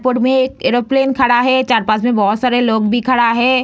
Airport में एक aeroplane खड़ा है चार-पाँच में बहुत सारे लोग भी खड़ा है।